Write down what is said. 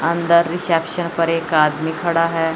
अंदर रिसेप्शन पर एक आदमी खड़ा है।